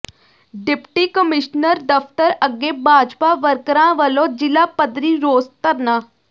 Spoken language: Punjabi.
ਡਿਪਟੀ ਕਮਿਸ਼ਨਰ ਦਫ਼ਤਰ ਅੱਗੇ ਭਾਜਪਾ ਵਰਕਰਾਂ ਵਲੋਂ ਜ਼ਿਲ੍ਹਾ ਪੱਧਰੀ ਰੋਸ ਧਰਨਾ